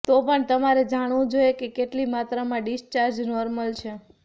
તો પણ તમારે જાણવું જોઈએ કે કેટલી માત્રામાં ડિસ્ચાર્જ નોર્મલ છે